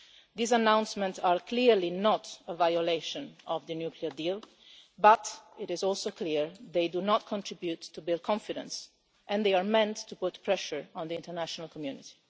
These announcements are clearly not a violation of the nuclear deal, but it is also clear they do not contribute to build confidence and they are meant to put pressure on the international community.